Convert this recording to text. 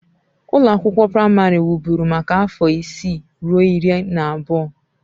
Ụlọ akwụkwọ praịmarị wụ́bụ́ru maka afọ isii ruo iri na abụọ.